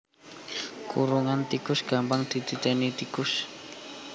Kurungan tikus gampang dititéni tikus